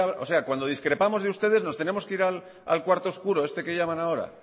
o sea cuando discrepamos de ustedes nos tenemos que ir al cuarto oscuro este que llaman ahora